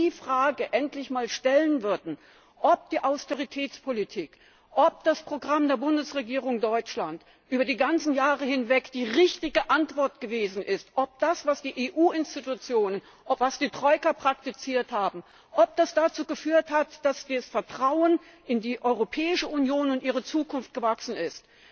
Wenn Sie diese Frage endlich mal stellen würden, ob die Austeritätspolitik, ob das Programm der Bundesregierung Deutschlands über die ganzen Jahre hinweg die richtige Antwort gewesen ist, ob das, was die EU Institutionen, was die Troika praktiziert haben, ob das dazu geführt hat, dass das Vertrauen in die Europäische Union und ihre Zukunft gewachsen ist.